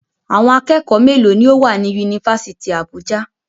Àwọn akẹ́kọ̀ọ́ mélòó ni ó wà ní Yunifásítì Àbújá?